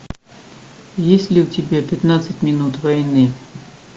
есть ли у тебя пятнадцать минут войны